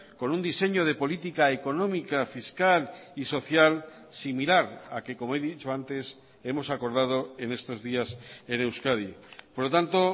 con un diseño de política económica fiscal y social similar a que como he dicho antes hemos acordado en estos días en euskadi por lo tanto